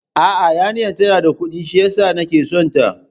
A'a, yarinyar tana da Kudi shiyasa nake son ta